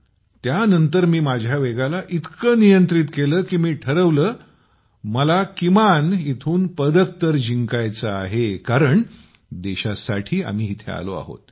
त्यानंतर मी माझ्या वेगाला इतक नियंत्रित केल कि मी ठरवले मला किमान इथून पदक तर जिंकायचं आहे कारण देशासाठी आम्ही इथे आलो आहोत